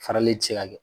Farali ti se ka kɛ